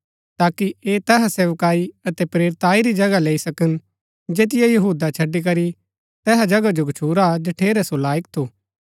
ताकि ऐह तैहा सेवकाई अतै प्रेरिताई री जगह लैई सकन जैतिओ यहूदा छड़ी करी तैहा जगह जो गच्छुरा हा जठेरै सो लायक थू